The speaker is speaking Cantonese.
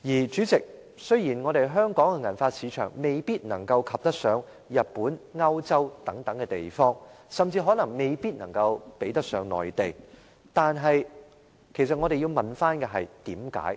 主席，雖然香港的銀髮市場未必能夠及得上日本和歐洲等地方，甚至可能未必能夠比得上內地，但其實我們要問為甚麼？